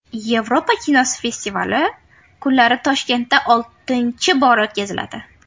Yevropa kinosi festivali kunlari Toshkentda oltinchi bora o‘tkaziladi.